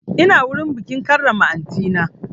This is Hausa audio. Ina wurin bikin karrama aunty na